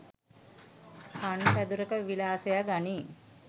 පන් පැදුරක විලාසය ගනී.